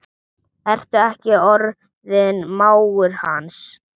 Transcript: Ertu ekki orðinn mágur hans?